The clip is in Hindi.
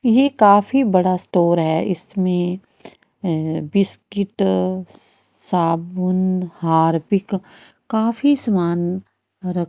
ये काफी बड़ा स्टोर है इसमें अ बिस्किट स साबुन हारपिक काफी सामान रख --